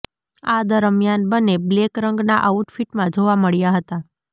આ દરમિયાન બંને બ્લેક રંગના આઉટફિટમાં જોવા મળ્યા હતા